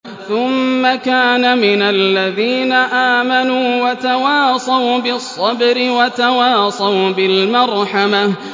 ثُمَّ كَانَ مِنَ الَّذِينَ آمَنُوا وَتَوَاصَوْا بِالصَّبْرِ وَتَوَاصَوْا بِالْمَرْحَمَةِ